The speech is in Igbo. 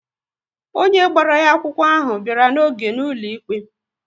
Onye gbara ya akwụkwọ ahụ bịara n'oge na-ụlọ ikpe